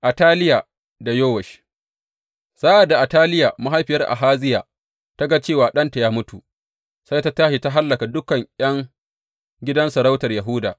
Ataliya da Yowash Sa’ad da Ataliya mahaifiyar Ahaziya ta ga cewa ɗanta ya mutu, sai ta tashi ta hallaka dukan ’yan gidan sarautar Yahuda.